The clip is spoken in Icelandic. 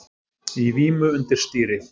Í vímu undir stýri